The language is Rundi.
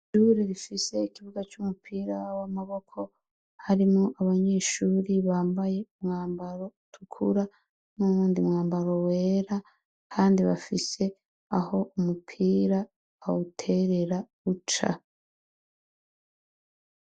Ishure rifise ikibuga c'umupira w'amaboko, harimwo abanyeshure bambaye umwambaro utukura n'uwundi mwambaro wera, kandi bafise aho umupira bawuterera uca.